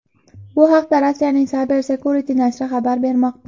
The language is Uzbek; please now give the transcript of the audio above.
Bu haqda Rossiyaning CyberSecurity nashri xabar bermoqda.